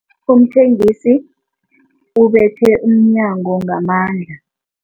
Umthengisi ubethe umnyango ngamandla.